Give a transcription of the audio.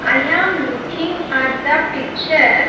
I am looking at the picture.